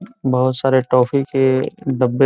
बोहोत सारे टॉफी के डब्बे --